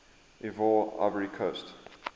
ivoire ivory coast